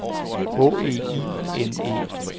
H E I N E